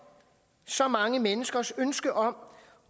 så mange menneskers ønske om